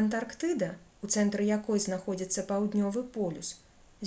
антарктыда у цэнтры якой знаходзіцца паўднёвы полюс